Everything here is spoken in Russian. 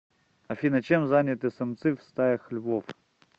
афина чем заняты самцы в стаях львов